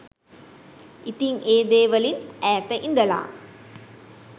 ඉතිං ඒ දේවලින් ඈත ඉඳලා